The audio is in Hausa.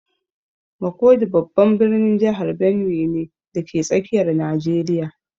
Makurdi babban birnin jihar Benue ne, dake tsakiyar Najeriya